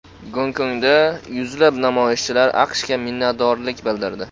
Gonkongda yuzlab namoyishchilar AQShga minnatdorlik bildirdi.